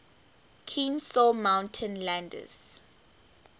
kenesaw mountain landis